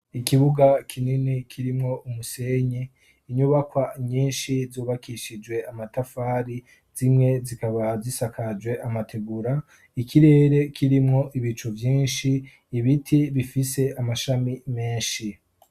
ikibuga kinini kirimwo umusenyi inyubakwa nyinshi zubakishijwe amatafari zimwe zikaba zisakajwe amategura ikirere kirimwo ibicu vyinshi ibiti bifise amashami menshi